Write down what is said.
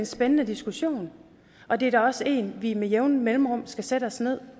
spændende diskussion og det er da også en vi med jævne mellemrum skal sætte os ned